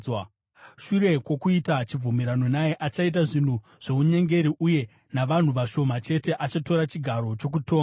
Shure kwokuita chibvumirano naye, achaita zvinhu zvounyengeri, uye navanhu vashoma chete achatora chigaro chokutonga.